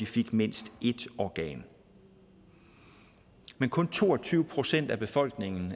fik mindst et organ men kun to og tyve procent af befolkningen